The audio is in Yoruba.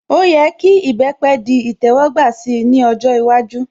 Ó yẹ kí ìbẹpẹ̀ di ìtẹ́wọ́gbà si ní ọjọ́ iwájú